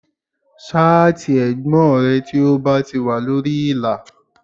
Ṣáàtì ẹ̀gbọ́n rẹ tí ó bá ti wà lórí ìlà